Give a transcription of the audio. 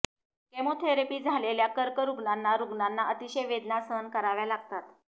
chemotherapy झालेल्या कर्करुग्णांना रुग्णांना अतिशय वेदना सहन कराव्या लागतात